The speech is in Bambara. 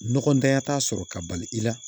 Nɔgɔtanya t'a sɔrɔ ka bali i la